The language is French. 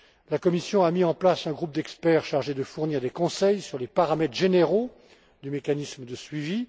La Commission a mis en place un groupe d'experts chargé de fournir des conseils sur les paramètres généraux du mécanisme de suivi.